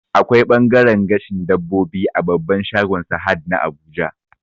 Akwai ɓangaren gashin dabbobi a babban shagon Sahad na Abuja